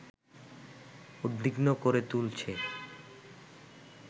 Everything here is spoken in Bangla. উদ্বিগ্ন করে তুলছে